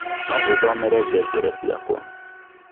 no ũthomere ngengere ciakwa